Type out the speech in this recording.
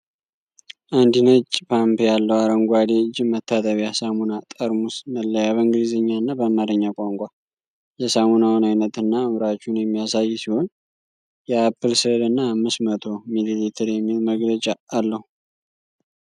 አንድ ነጭ ፓምፕ ያለው አረንጓዴ እጅ መታጠቢያ ሳሙና ጠርሙስ መለያ በእንግሊዝኛና በአማርኛ ቋንቋ የሳሙናውን አይነትና አምራቹን የሚያሳይ ሲሆን፣ የአፕል ስዕልና "አምስት መቶ" ሚሊሊትር የሚል መግለጫ አለው።